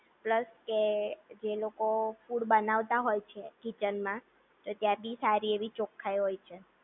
plus કે એ લોકો ફૂડ બનાવતા હોય છે કિચનમાં તો ત્યાં પણ સારી એવી ચોખાઈ હોય છે